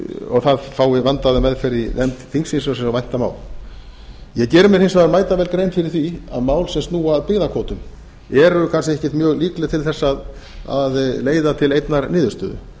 og það fái vandaða meðferð í nefnd þingsins eins og vænta má ég geri mér hins vegar mætavel grein fyrir því að mál sem snúa að byggðakvótum eru kannski ekkert mjög líkleg til þess að leiða til einnar niðurstöðu